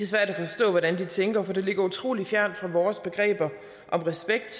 svært at forstå hvordan de tænker for det ligger utrolig fjernt fra vores begreber om respekt